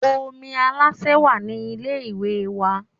Omi Aláṣẹ wà ní ilé ìwẹ̀ wa